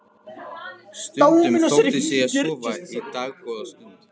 Stundum þóttist ég sofa í dágóða stund.